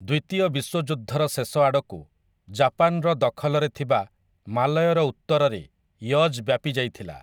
ଦ୍ୱିତୀୟ ବିଶ୍ୱଯୁଦ୍ଧର ଶେଷ ଆଡ଼କୁ, ଜାପାନର ଦଖଲରେ ଥିବା ମାଲୟର ଉତ୍ତରରେ ୟଜ୍ ବ୍ୟାପିଯାଇଥିଲା ।